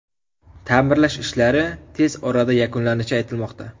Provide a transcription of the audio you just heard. Ta’mirlash ishlari tez orada yakunlanishi aytilmoqda.